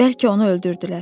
Bəlkə onu öldürdülər.